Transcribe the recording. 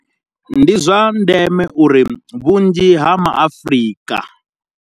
Ndi zwa ndeme uri vhunzhi ha ma Afrika.